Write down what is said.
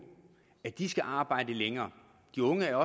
at de skal arbejde længere de unge er